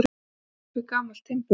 Eldur upp við gamalt timburhús